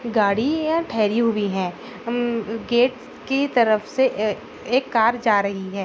गाड़ी है ठहरी हुई है हम गेट की तरफ से एक कार जा रही है।